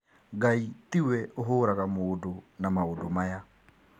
Ngai tiwe ũhũraga mũndũ na maũndũ maya